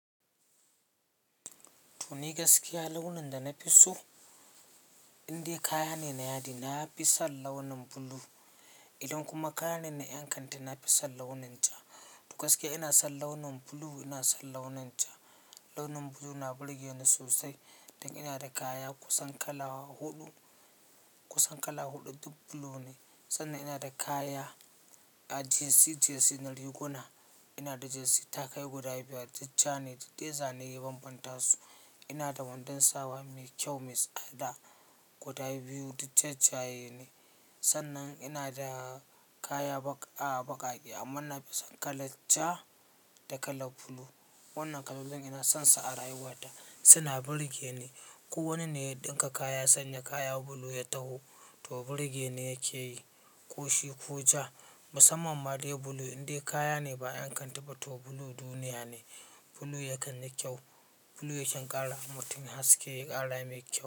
To ni gaskiya launin da na fi so, indai kaya ne na yadi, na fi son launin blue. Idan kuma kaya ne na ƴan kanti, na fi son launin ja. To askiya ina son launin blue, ina son launin ja. Launin blue na burge ni sosai. Dan ina da kaya kusan kala huɗu, kusan kala huɗu duk blue ne. Sannan ina da kaya, ah, Jersey- jersey na riguna. Ina da jersey takai guda biyar duk ja ne, duk dai zane ya banbanta su. Ina da wandon sawa mai kyau, mai tsada guda biyu duk jajaye ne. Sannan ina da kaya baƙaƙe amma na fi son kalar ja da kalar blue. Wannan kalolin ina sonsa a rayuwata, suna burge ni. Ko wani ne ya ɗinka kaya, sanya kaya blue ya taho, to burge ne yake yi, ko shi ko ja. Musamman ma dai blue indai kaya ne ba ƴan kanti ba, to blue duniya ne. Blue yakan yi kyau. Blue yakan ƙara ma mutum haske, ya ƙara mai kyau.